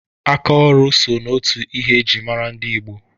Aka ọrụ so n'otu ihe e ji mara dị Igbo